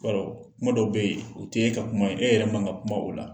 I b'a dɔ kuma dɔw bɛ ye o te e ka kuma ye. E yɛrɛ man ka kuma o la.